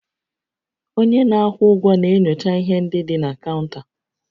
Onye na-akwụ ụgwọ na-enyocha ihe ndị dị na kaụnta